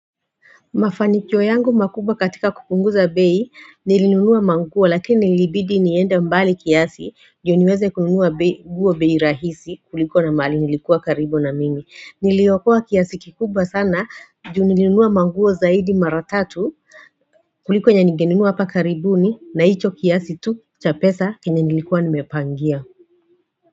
Mafanikio yangu makubwa katika kupunguza bei nilinunua manguo lakini nilibidi nienda mbali kiasi ndio niweze kununua nguo bei rahisi kuliko na mahali nilikuwa karibu na mimi niliokoa kiasi kikubwa sana ju nilinunua manguo zaidi mara tatu kuliko yenye ningenunua hapa karibuni na hicho kiasi tu cha pesa kenye nilikuwa nimepangia.